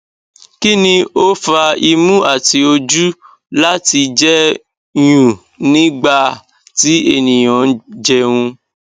kini o fa imu ati oju lati jẹ nyún nigba ti eniyan njẹun